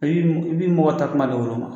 I bɛ i mɔgɔtatuma de woloma